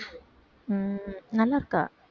உம் நல்லாருக்கா